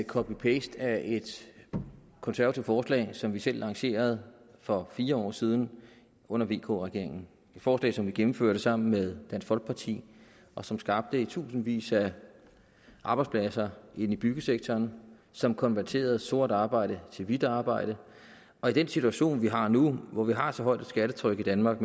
en copy paste af et konservativt forslag som vi selv lancerede for fire år siden under vk regeringen forslag som vi gennemførte sammen med dansk folkeparti og som skabte tusindvis af arbejdspladser i byggesektoren og som konverterede sort arbejde til hvidt arbejde og i den situation vi har nu hvor vi har så højt et skattetryk i danmark